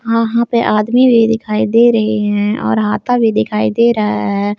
वहां पे आदमी भी दिखाई दे रहे हैं और हाता भी दिखाई दे रहा है।